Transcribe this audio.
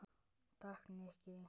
Takk, Nikki